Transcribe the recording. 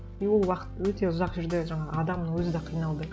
и ол уақыт өте ұзақ жүрді жаңағы адамның өзі де қиналды